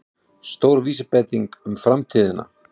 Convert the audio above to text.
Stór vísbending um framtíðina